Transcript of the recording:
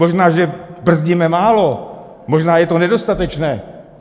Možná že brzdíme málo, možná je to nedostatečné.